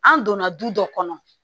An donna du dɔ kɔnɔ